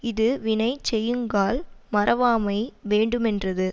இது வினை செய்யுங்கால் மறவாமை வேண்டுமென்றது